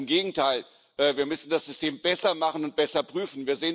Ganz im Gegenteil Wir müssen das System besser machen und besser prüfen.